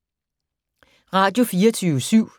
Radio24syv